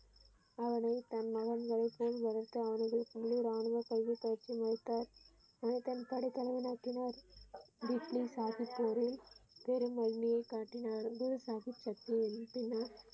அவனை தனது மகன்களைப் போல் வளர்த்து உள்ளூர் ராணுவ பயிற்சி அளித்தார் படைத்தலைவன் ஆக்கினார் பிஸ்மி சாஹிப் போரில் பெரும் வலிமையை காட்டினார் குரு சாகிப எழுப்பினார்.